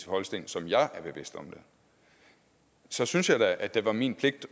holsten som jeg er så synes jeg da det var min pligt